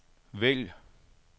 vælg